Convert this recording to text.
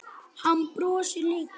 Hann brosir líka.